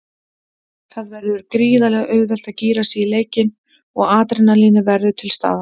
Það verður gríðarlega auðvelt að gíra sig í leikinn og adrenalínið verður til staðar.